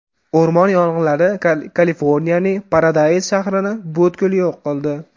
O‘rmon yong‘inlari Kaliforniyaning Paradays shahrini butkul yo‘q qildi.